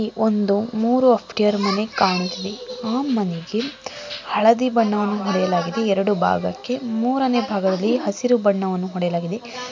ಒಂದು ಮೂರು ಆಫ್ಟಿಯರ ಮನೆ ಕಾಣ್ತಿದೆ ಆ ಮನೆಗೆ ಹಳದಿ ಬಣ್ಣವನ್ನು ಹೊಡೆಯಲಾಗಿದೆ ಎರಡು ಭಾಗಕ್ಕೆ ಮೂರನೇ ಭಾಗಕ್ಕೆ ಹಸಿರು ಬಣ್ಣವನ್ನು ಹೊಡೆಯಲಾಗಿದೆ --